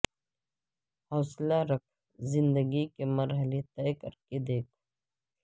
حوصلہ رکھ زندگی کے مرحلے طے کر کے دیکھ